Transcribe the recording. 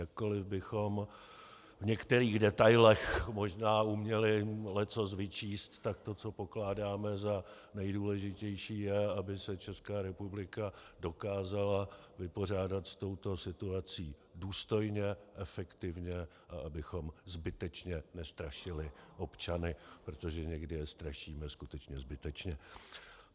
Jakkoliv bychom v některých detailech možná uměli leccos vyčíst, tak to, co pokládáme za nejdůležitější, je, aby se Česká republika dokázala vypořádat s touto situací důstojně, efektivně a abychom zbytečně nestrašili občany, protože někdy je strašíme skutečně zbytečně.